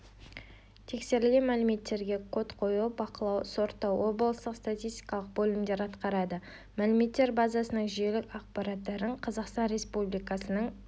тексерілген мәліметтерге код қою бақылау сорттау облыстық статистикалық бөлімдер атқарады мәліметтер базасының жүйелік ақпараттарын қазақстан республикасының